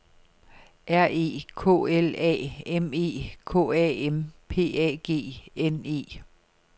R E K L A M E K A M P A G N E